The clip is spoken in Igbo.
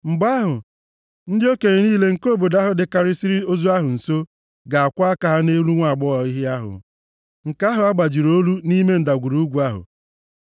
Mgbe ahụ, ndị okenye niile nke obodo ndị ahụ dịkarịsịrị ozu ahụ nso, ga-akwọ aka ha nʼelu nwaagbọghọ ehi ahụ, + 21:6 Omume dị otu a, zipụtara na ha bụ ndị aka ha dị ọcha nʼọnwụ onye ahụ e gburu. nke ahụ a gbajiri olu nʼime ndagwurugwu ahụ.